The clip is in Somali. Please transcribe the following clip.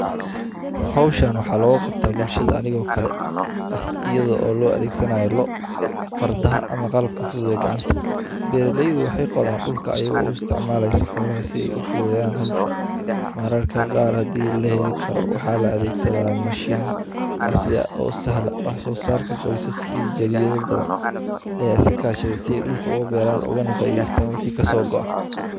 Hawshaan waxaa loo qabta bulshada anigoo kale ah iyadoo oo loo adeegsanaayo loo fardaha ama qalab ka fududiyo gacanta. Beeralaid waxay qoodaan dhulka ayagoo u isticmaalaysa xoolo si ay u fududeyaan hawsha. Maa rarka qaaradii la heli karo waxaa la adeegso machine casri ah oo sahla oo so saarka qoysas iyo jariiro badan ayay sakaashadeen si dhulka ugu beeraan uga nafay diista weyhi ka soo go'a.